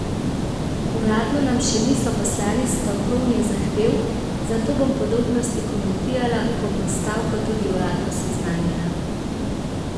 Uradno nam še niso poslali stavkovnih zahtev, zato bom podrobnosti komentirala, ko bom s stavko tudi uradno seznanjena.